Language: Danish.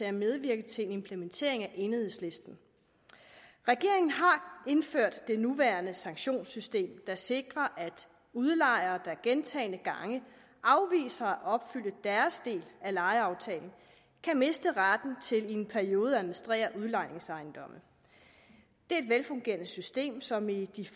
at medvirke til en implementering af enhedslisten regeringen har indført det nuværende sanktionssystem der sikrer at udlejere der gentagne gange afviser at opfylde deres del af lejeaftalen kan miste retten til i en periode at administrere udlejningsejendomme det er et velfungerende system som i de